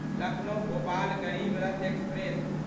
Lucknow Bhopal Garib Rath express